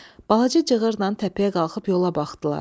Balaca cığırla təpəyə qalxıb yola baxdılar.